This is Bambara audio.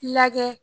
Lagɛ